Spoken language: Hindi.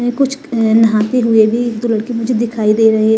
कुछ अह नहाते हुए भी दो लड़के मुझे दिखाई दे रहे है।